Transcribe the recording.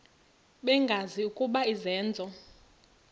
bengazi ukuba izenzo